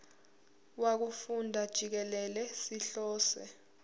wokufunda jikelele sihlose